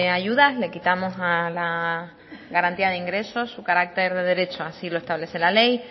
ayudas le quitamos a la garantía de ingresos su carácter de derecho así lo establece la ley